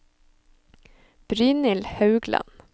Brynhild Haugland